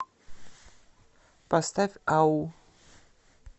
поставь ау